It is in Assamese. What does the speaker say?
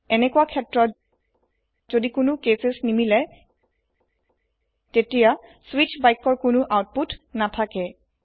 এনেকোৱা ক্ষেত্ৰত যদি কোনো কেচেছ নিমিলে তেতিয়া স্বিচ বাক্যৰ কোনো অউতপুত নাথাকে